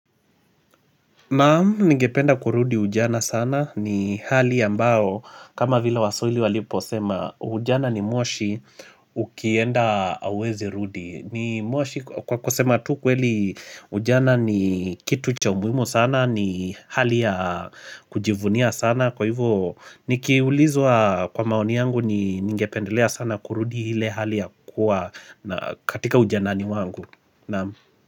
Naam, ningependa kurudi ujana sana ni hali ambao kama vile waswahili waliposema ujana ni moshi ukienda auwezi rudi Kwa kusema tu kweli ujana ni kitu cha umuhimu sana ni hali ya kujivunia sana kwa hivyo nikiulizwa kwa maoni yangu ningependelea sana kurudi hile hali ya kuwa katika ujanani wangu, Naam.